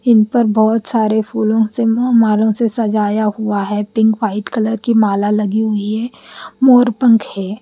इन पर बहुत सारे फूलों से अ मालों से सजाया हुआ है पिंक वाइट कलर की माला लगी हुई है मोर पंख है।